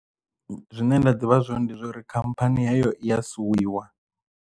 Zwine nda ḓivha zwone ndi zwauri khamphani heyo iya suwiwa.